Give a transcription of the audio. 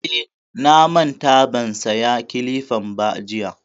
Eh, na manta ban saya kilifan ba jiya